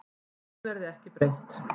Því verði ekki breytt.